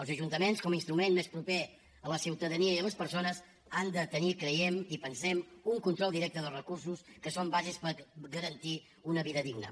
els ajuntaments com a instrument més proper a la ciutadania i a les persones han de tenir ho creiem i ho pensem un control directe dels recursos que són bàsics per garantir una vida digna